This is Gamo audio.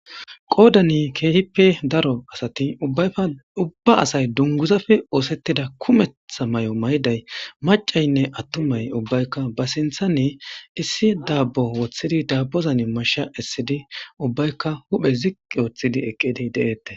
qoodani keehippe daro asati baykka ubba asay dunguzafe oosettida kumettha may'o mayday macaynne attumay ubbaykka ba sintha ni issi daabbo woththidi dabbozan masha essidi ubbaykka huphe ziqqi woththidi eqqidi de'eette